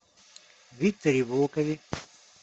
викторе волкове